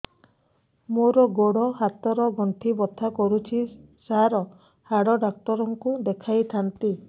ମୋର ଗୋଡ ହାତ ର ଗଣ୍ଠି ବଥା କରୁଛି ସାର ହାଡ଼ ଡାକ୍ତର ଙ୍କୁ ଦେଖାଇ ଥାନ୍ତି